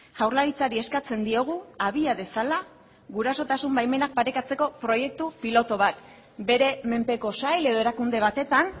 jaurlaritzari eskatzen diogu abia dezala gurasotasun baimenak parekatzeko proiektu pilotu bat bere menpeko sail edo erakunde batetan